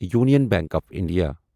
Union Bank of India